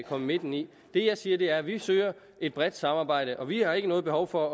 komme midt i det jeg siger er at vi søger et bredt samarbejde og vi har ikke noget behov for